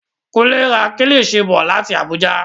Kunle ra kílishi bọ̀ láti Abuja.